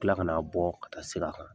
Kila kana bɔ a ka sira kan